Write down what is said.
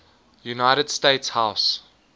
united states house